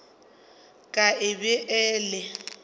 ka e be e le